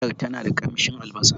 Miyan tana dumama kan murhu.